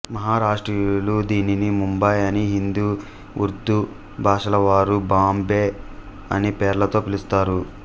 మహారాష్ట్రీయులు దీనిని ముంబై అని హిందీ ఉర్దూ భాషలవారు బంబై అనే పేర్లతో పిలుస్తారు